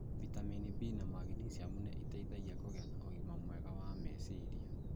vitamini B, na magnesium nĩ iteithagia kũgĩa na ũgima mwega wa meciria.